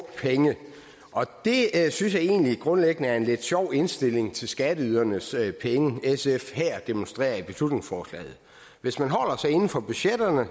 penge det synes jeg egentlig grundlæggende er en lidt sjov indstilling til skatteydernes penge sf her demonstrerer i beslutningsforslaget hvis man holder sig inden for budgetterne